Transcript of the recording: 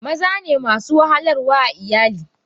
Mazane masu wahalar wa a iyali.